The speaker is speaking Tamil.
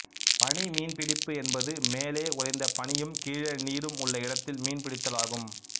பனி மீன்பிடிப்பு என்பது மேலே உறைந்த பனியும் கீழே நீரும் உள்ள இடத்தில் மீன்பிடித்தல் ஆகும்